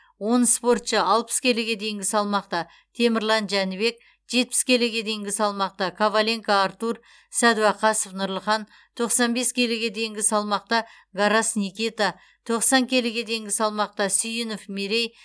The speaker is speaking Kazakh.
он спортшы алпыс келіге дейінгі салмақта темірлан жәнібек жетпіс келіге дейінгі салмақта коваленко артур сәдуақасов нұрлыхан тоқсан бес келіге дейінгі салмақта гарас никита тоқсан келіге дейінгі салмақта сүйінов мерей